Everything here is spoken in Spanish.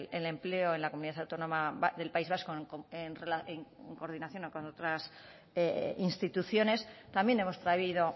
el empleo en la comunidad autónoma del país vasco en coordinación con otras instituciones también hemos traído